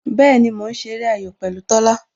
Bẹẹni, mo ń ṣeré ayò pẹ̀lú Tola